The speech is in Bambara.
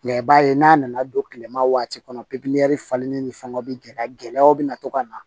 i b'a ye n'a nana don kilema waati kɔnɔ falenni ni fɛngɛw bi gɛlɛyaw bɛ na to ka na